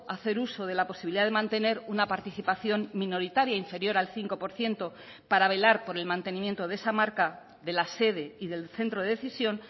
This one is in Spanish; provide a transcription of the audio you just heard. hacer uso de la posibilidad de mantener una participación minoritaria inferior al cinco por ciento para velar por el mantenimiento de esa marca de la sede y del centro de decisión